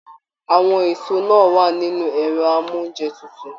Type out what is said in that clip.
Àwọn èso náà wà nínú ẹrọ amounjẹ tútù.